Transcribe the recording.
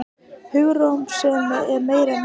Hugarrósemin er meiri en áður.